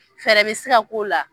Fɛɛrɛ be se ka k'o la.